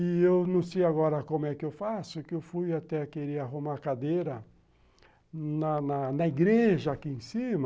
E eu não sei agora como é que eu faço, que eu fui até, queria arrumar cadeira na na igreja aqui em cima,